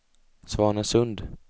Svanesund